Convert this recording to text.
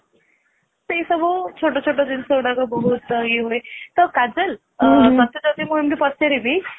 ସେଇ ସବୁ ଚିତ ଛୋଟ ଜିନିଷ ଗୁଡାକ ବହୁତ ସବୁ ଇଏ ହୁଏ ତ କାଜଲ ଟଟେ ଯଦି ମୁଁ ଏମିତି ପଚାରିବି